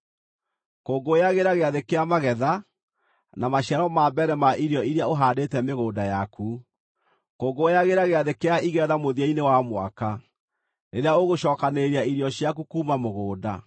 “Kũngũyagĩra Gĩathĩ kĩa Magetha na maciaro ma mbere ma irio iria ũhaandĩte mĩgũnda yaku. “Kũngũyagĩra Gĩathĩ kĩa Igetha mũthia-inĩ wa mwaka, rĩrĩa ũgũcookanĩrĩria irio ciaku kuuma mũgũnda.